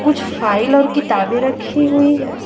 कुछ फाइल और किताबे रखी हुई है।